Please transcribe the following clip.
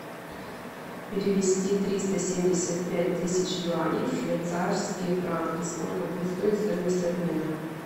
перевести триста семьдесят пять тысяч юаней в швейцарские франки сколько будет стоить стоимость обмена